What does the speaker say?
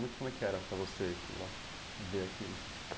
Como é como é que era para você ir lá e ver aquilo?